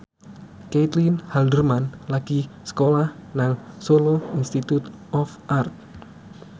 Caitlin Halderman lagi sekolah nang Solo Institute of Art